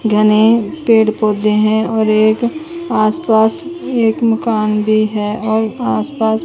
घने पेड़ पौधे हैं और एक आस पास एक मकान भी है और आस पास--